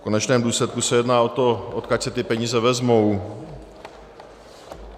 V konečném důsledku se jedná o to, odkud se ty peníze vezmou.